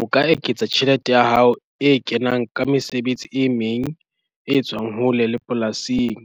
O ka eketsa tjhelete ya hao e kenang ka mesebetsi e meng e etswang hole le polasing,